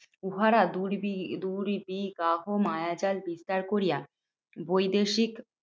উহারা দুর্বি দুর্বিগাহ মায়াজাল বিস্তার করিয়া, বৈদেশিক